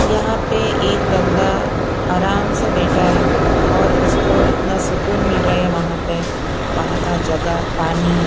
यहाँ पे एक बंदा आराम से बैठा है और उसको इतना सुकून मिल रहा है वहाँ पे वहाँ का जगह पानी --